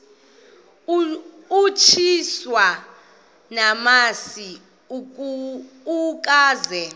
utyiswa namasi ukaze